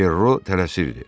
Perro tələsirdi.